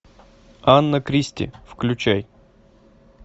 анна кристи включай